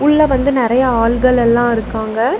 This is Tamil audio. உள்ள வந்து நறைய ஆள்கள் எல்லா இருக்காங்க.